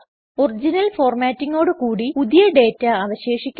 original ഫോർമാറ്റിംഗോട് കൂടി പുതിയ ഡേറ്റ അവശേഷിക്കുന്നു